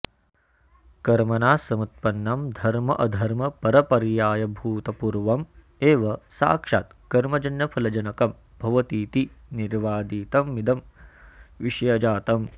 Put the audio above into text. कर्मणा समुत्पन्नं धर्माऽ धर्मापरपर्यायभूतमपूर्व मेव साक्षात् कर्मजन्यफलजनकं भवतीति निर्वादितमिदं विषयजातम्